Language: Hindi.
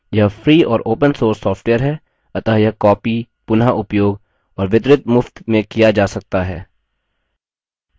यह free और open source सॉफ्टवेयर है अतः यह copied पुनःउपयोग और वितरित मुफ्त में किया जा सकता है